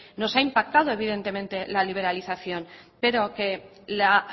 nos ha impactado evidentemente la liberalización pero que la